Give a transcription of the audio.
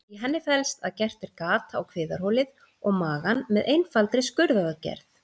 Í henni felst að gert er gat á kviðarholið og magann með einfaldri skurðaðgerð.